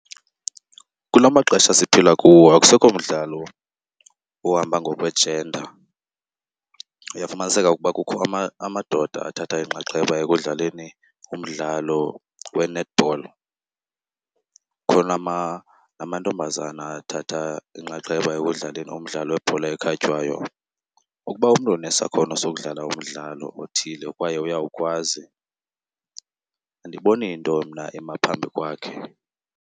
Kula maxesha siphila kuwo akusekho mdlalo ohamba ngokwe-gender. Uyafumaniseka ukuba kukho amadoda athathe inxaxheba ekudlaleni umdlalo we-netball, kukhona namantombazana athatha inxaxheba ekudlaleni umdlalo webhola ekhatywayo. Ukuba umntu unesakhono sokudlala umdlalo othile kwaye uyawukwazi andiboni nto mna ema phambi kwakhe.